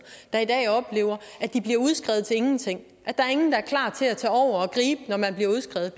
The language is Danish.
der i dag oplever at de bliver udskrevet til ingenting at der ingen er klar til at tage over og gribe når man bliver udskrevet